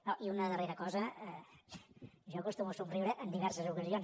no i una darrera cosa jo acostumo a somriure en diverses ocasions